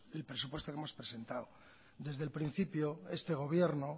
el presupuesto que hemos presentado desde el principio este gobierno